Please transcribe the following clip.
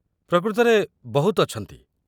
ପ୍ରକୃତରେ, ବହୁତ ଅଛନ୍ତି।